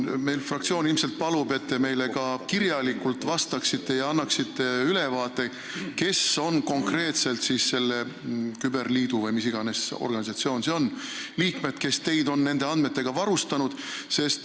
Meie fraktsioon ilmselt palub, et te meile ka kirjalikult vastaksite ja annaksite ülevaate, kes on konkreetselt selle küberliidu – või mis iganes organisatsioon see oli – liikmed, kes on teid nende andmetega varustanud.